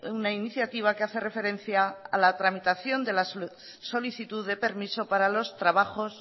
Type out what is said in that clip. una iniciativa que hace referencia a la tramitación de la solicitud de permiso para los trabajos